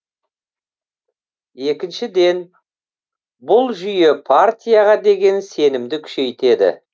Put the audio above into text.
екіншіден бұл жүйе партияға деген сенімді күшейтеді